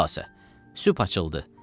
Xülasə, sübh açıldı.